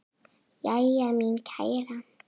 Jæja, mín kæra.